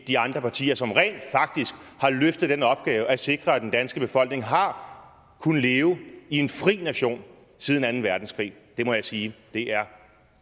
de andre partier som rent faktisk har løftet den opgave at sikre at den danske befolkning har kunnet leve i en fri nation siden anden verdenskrig det må jeg sige er